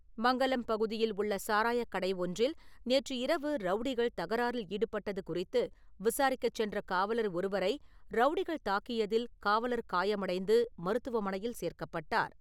மங்கலம் பகுதியில் உள்ள சாராயக்கடை ஒன்றில் நேற்று இரவு ரவுடிகள் தகராறில் ஈடுபட்டது குறித்து, விசாரிக்க சென்ற காவலர் ஒருவரை ரவுடிகள் தாக்கியதில் காவலர் காயமடைந்து மருத்துவமனையில் சேர்க்கப்பட்டார்.